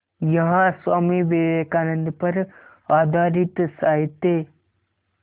यहाँ स्वामी विवेकानंद पर आधारित साहित्य